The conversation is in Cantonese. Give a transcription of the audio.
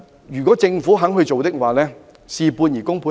如果政府肯親自處理，便會事半而功倍。